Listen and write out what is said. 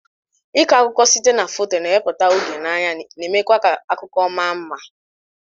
Ịkọ akụkọ site na foto, na-ewepụta oge n'anya, na-eme kwa ka akụkọ ma mma.